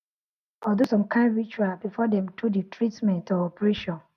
no be lie some families fit fit wan pray or do some kind ritual before dem do the treatment or operation